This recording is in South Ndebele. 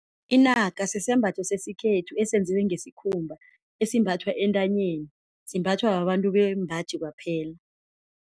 Inaka sisembatho sesikhethu esenziwe ngesikhumba esimbathwa entanyeni simbathwa babantu bembaji kwaphela.